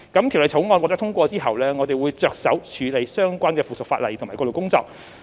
《條例草案》獲得通過後，我們會着手處理相關的附屬法例及過渡工作。